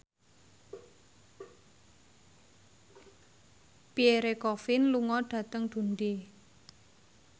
Pierre Coffin lunga dhateng Dundee